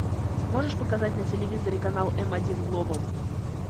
можешь показать на телевизоре канал м один глобал